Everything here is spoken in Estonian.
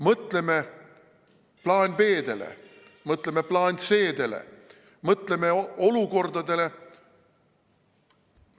Mõtleme plaan B-dele, mõtleme plaan C-dele!